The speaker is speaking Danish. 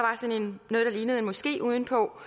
lignede en moské uden på